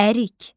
Ərik.